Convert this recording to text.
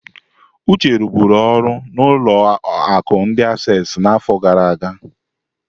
Uche ruburu ọrụ n'ụlọ akụ ndi Assesi n'afọ gara aga.